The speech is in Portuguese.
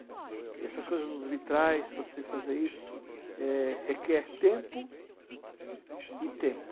E essas coisas dos vitrais, você fazer isso, eh, requer tempo e tempo.